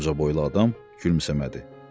Amma ucaboylu adam gülümsəmədi.